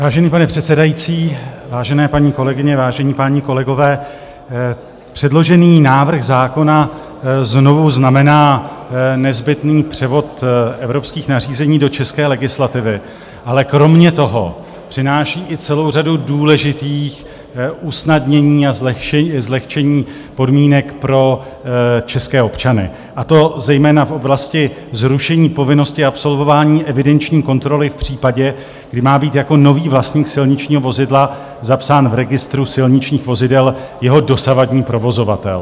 Vážený pane předsedající, vážené paní kolegyně, vážení páni kolegové, předložený návrh zákona znovu znamená nezbytný převod evropských nařízení do české legislativy, ale kromě toho přináší i celou řadu důležitých usnadnění a zlehčení podmínek pro české občany, a to zejména v oblasti zrušení povinnosti absolvování evidenční kontroly v případě, kdy má být jako nový vlastník silničního vozidla zapsán v registru silničních vozidel jeho dosavadní provozovatel.